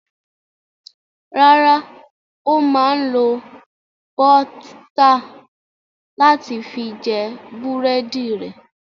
Rárá, ó máa ń lo bọ́t láti fi jẹ búrẹ́dì rẹ̀.